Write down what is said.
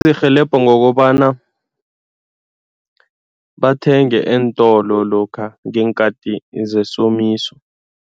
Sirhelebha ngokobana bathenge eentolo lokha ngeenkathi zesomiso.